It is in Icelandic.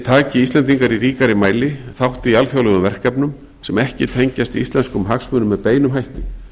taki íslendingar í ríkari mæli þátt í alþjóðlegum verkefnum sem ekki tengjast íslenskum hagsmunum með beinum hætti